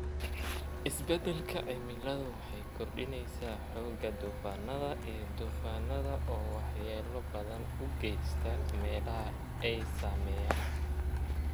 Isbeddelka cimiladu waxay kordhinaysaa xoogga duufaannada iyo duufaannada, oo waxyeello ba'an u geysta meelaha ay saameeyeen.